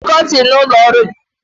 I ga-etinye kọtin n'ụlọ ọrụ gị?